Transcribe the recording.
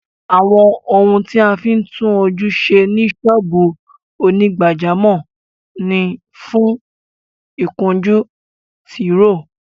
Àwọn ohun tí a fí ń tún ojú ṣe ní ṣọ́ọ́bù onígbàjámọ̀ ni fún, ìkunjú, Tìróò